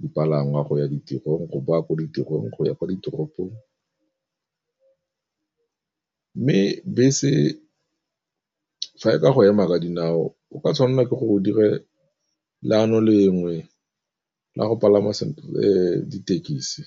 dipalangwa go ya ditirong, go boa ko ditirong, go ya kwa ditoropong. Mme bese fa e ka go ema ka dinao o ka tshwanela ke gore o dire leano lengwe, la go palama ditekisi.